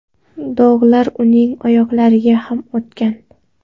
Dog‘lar uning oyoqlariga ham o‘tgan.